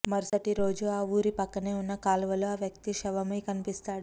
మరుసాటి రోజు ఆ ఊరి పక్కనే ఉన్న కాలువ లో ఆ వ్యక్తి శవమై కనిపిస్తాడు